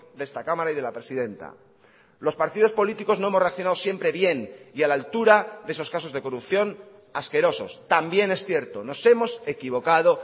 de esta cámara y de la presidenta los partidos políticos no hemos racionado siempre bien y a la altura de esos casos de corrupción asquerosos también es cierto nos hemos equivocado